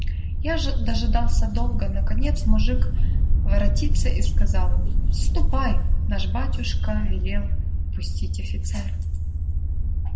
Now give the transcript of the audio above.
я же дожидался долго наконец мужик воротился и сказал мне ступай наш батюшка велел впустить офицера